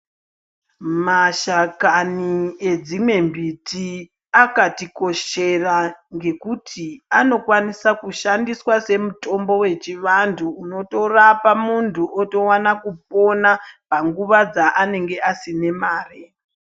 Mashakani edzimwe mbiti akati koshera ngekuti anokwanisa kushandiswa semutombo wevantu unotorapa muntu kwakupona panguwa dzanenge asina mare.